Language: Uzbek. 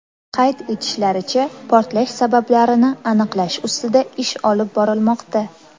Qayd etishlaricha, portlash sabablarini aniqlash ustida ish olib borilmoqda.